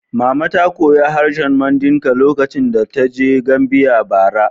Mama ta koyi harshen Mandinka lokacin da ta je Gambia, bara.